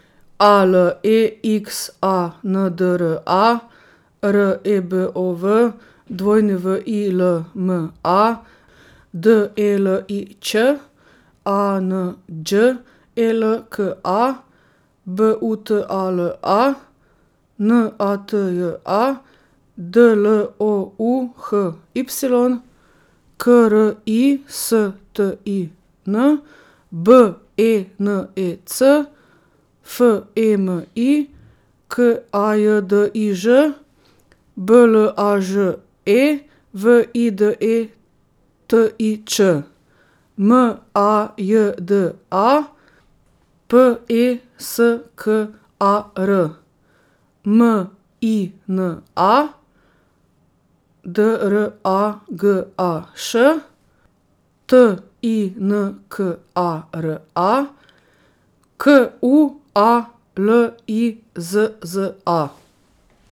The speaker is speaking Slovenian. A L E X A N D R A, R E B O V; W I L M A, D E L I Ć; A N Đ E L K A, B U T A L A; N A T J A, D L O U H Y; K R I S T I N, B E N E C; F E M I, K A J D I Ž; B L A Ž E, V I D E T I Č; M A J D A, P E S K A R; M I N A, D R A G A Š; T I N K A R A, Q U A L I Z Z A.